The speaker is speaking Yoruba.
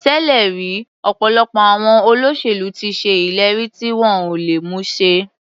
Tẹ́lẹ̀ rí ọ̀pọ̀lọpọ̀ àwọn olóṣèlú ti ṣe ìlérí tí wọn ò lè mú ṣẹ.